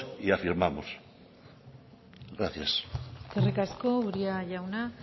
y afirmamos gracias eskerrik asko uria jauna